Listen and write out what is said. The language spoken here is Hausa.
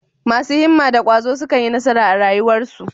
Masu himma da ƙwazo sukan yi nasara a rayuwarsu.